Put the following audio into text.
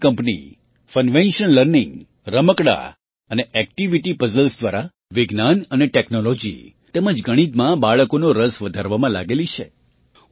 પૂણેની કંપની Funvention learning રમકડાં અને એક્ટિવિટી પઝલ્સ દ્વારા વિજ્ઞાન અને ટૅક્નૉલૉજી તેમજ ગણિતમાં બાળકોનો રસ વધારવામાં લાગેલી છે